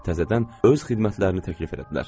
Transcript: Təzədən öz xidmətlərini təklif elədilər.